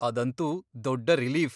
ಅದಂತೂ ದೊಡ್ಡ ರಿಲೀಫ್.